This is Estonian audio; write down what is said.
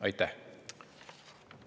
Aitäh!